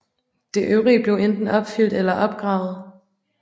Det øvrige blev enten opfyldt eller opgravet